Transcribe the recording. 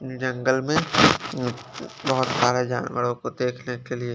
जंगल में अ बहोत सारे जानवरों को देखने के लिए।